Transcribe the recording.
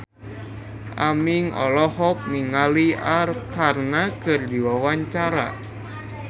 Aming olohok ningali Arkarna keur diwawancara